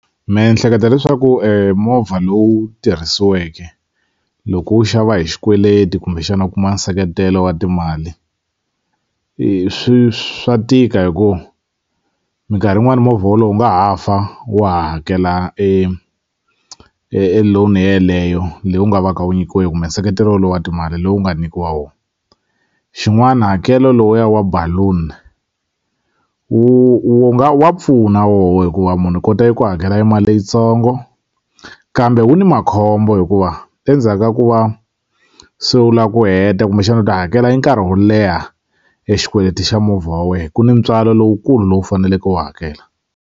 Me ni hleketa leswaku movha lowu tirhisiweke loko u wu xava hi xikweleti kumbexana u kuma nseketelo wa timali swi swa tika hi ku mikarhi yin'wani movha wolowo wu nga ha fa wa ha hakela e loan yeleyo leyi u nga va ka wu nyikiwe kumbe nseketelo lowu wa timali lowu nga nikiwa wo xin'wana hakelo lowuya wa balloon wu wu nga wa pfuna woho hikuva munhu u kota eku hakela mali leyitsongo kambe wu ni makhombo hikuva endzhaka ku va se u la ku heta kumbexani u ta hakela e nkarhi wo leha e xikweleti xa movha wa wena ku ni ntswalo lowukulu lowu faneleke u wu hakela.